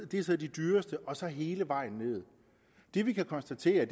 det er så de dyreste og så hele vejen nedad det vi kan konstatere er